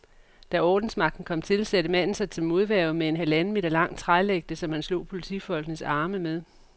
Da ordensmagten kom til, satte manden sig til modværge med en halvanden meter lang trælægte, som han slog politifolkenes arme med.